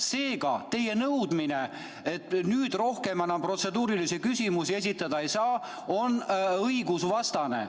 Seega, teie nõudmine, et nüüd rohkem enam protseduurilisi küsimusi esitada ei saa, on õigusvastane.